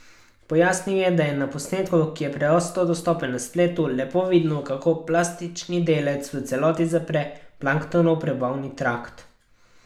Pojasnil je, da je na posnetku, ki je prosto dostopen na spletu, lepo vidno, kako plastični delec v celoti zapre planktonov prebavni trakt.